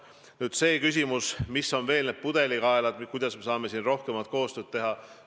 Nüüd see küsimus, mis on praegu pudelikaelad ja kuidas me saame rohkemat koostööd teha.